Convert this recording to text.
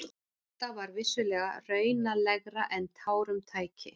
Þetta var vissulega raunalegra en tárum tæki.